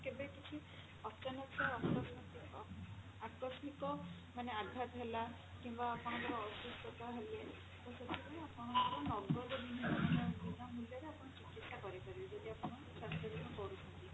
କେବେ କିଛି ଅଚାନକ ଆକସ୍ମିକ ମାନେ ଆଘାତ ହେଲା କିମ୍ବା ଆପଣଙ୍କର ଅସୁସ୍ଥତା ହେଲେ ତ ସେଥିପାଇଁ ଆପଣଙ୍କର ନଗଦ ବୀମା ମାନେ ବିନା ମୂଲ୍ୟରେ ଆପଣ ଚିକିତ୍ସା କରେଇପାରିବେ ଯଦି ଆପଣ ସ୍ୱାସ୍ଥ୍ୟ ବୀମା କରୁଛନ୍ତି